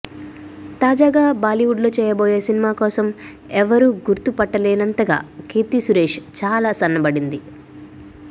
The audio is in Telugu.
తాజాగా బాలీవుడ్లో చేయబోయే సినిమా కోసం ఎవరు గుర్తు పట్టలేనంతగా కీర్తి సురేష్ చాలా సన్నబడింది